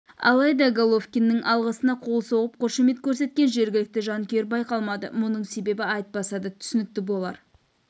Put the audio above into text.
алайда головкиннің алғысына қол соғып қошемет көрсеткен жергілікті жанкүйер байқалмады мұның себебі айтпаса да түсінікті болар